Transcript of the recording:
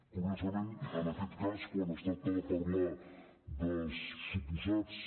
curiosament en aquest cas quan es tracta de parlar dels suposats